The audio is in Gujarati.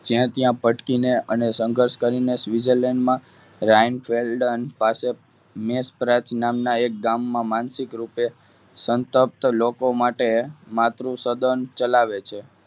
ત્યાં ત્યાં ભટકીને અને સંઘર્ષ કરીને Switzerland માં રાયન પાસે નામના એક ગામમાં માનસિક રૂપે સંતો લોકો માટે માતૃસદન ચલાવે છે.